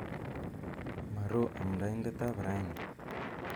Maro amndaindet ap raini.